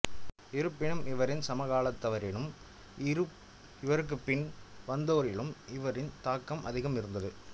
இருப்பினும் இவரின் சமகாலத்தவரிலும் இவருக்குப்பின் வந்தோரிலும் இவரின் தாக்கம் அதிகமாக இருந்தது